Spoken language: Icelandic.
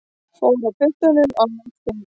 Fór á puttanum á landsþing